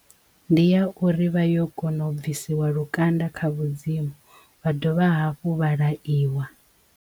Ndi ya uri vha yo kona u bvisiwa lukanda kha vhudzimu vha dovha hafhu vha laiwa.